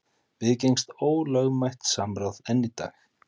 Viðgengst ólögmætt samráð enn í dag?